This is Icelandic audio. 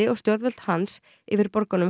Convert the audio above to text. og stjórnvöld hans yfir borgunum